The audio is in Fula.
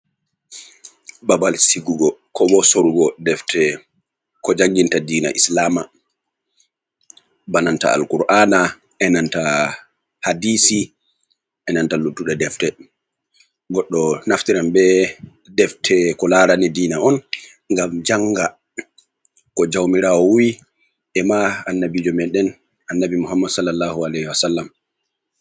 Babal sigugo kobo sorugo defte ko janginta diina islama bananta Al-ƙur'ana, e nanta hadisi, enanta luttuɗe defte. Goɗɗo naftiran be defte ko laarani diina on ngam janga ko jaumirawo wi'i, e ma annabijo me ɗen, Annabi Muhammad salla allahu aleihi wa sallam.